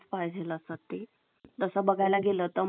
असं आता education केला तर आपण कुठे पण जाऊन आमच life अं spend ता आत करूशकत आहे